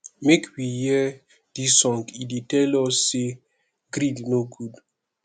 make we hear dis song e dey tell us sey greed no good